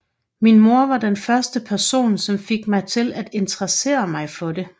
Min mor var den første person som fik mig til at interessere mig for det